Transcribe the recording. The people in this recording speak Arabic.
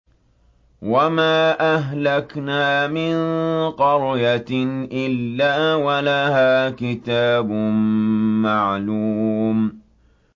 وَمَا أَهْلَكْنَا مِن قَرْيَةٍ إِلَّا وَلَهَا كِتَابٌ مَّعْلُومٌ